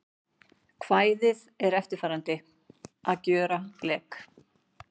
Kvæðið er eftirfarandi: Að gjöra blek